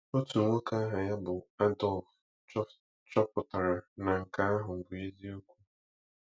Otu nwoke aha ya bụ Adolf chọpụtara na nke ahụ bụ eziokwu.